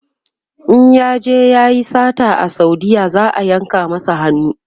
in yaje yayi sata a saudiya za'a yanka masa hannu